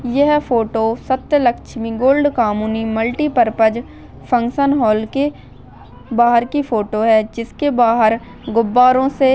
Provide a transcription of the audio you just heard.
यह photo Satyalakshmi gold कमुनी multipurpose function hall के बाहर की फोटो है जिसके बाहर गुब्बारों से--